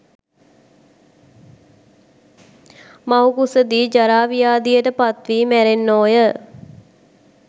මවුකුස දී ජරා, ව්‍යාධියට පත්වී මැරෙන්නෝය.